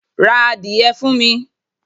Ra adìye fun mi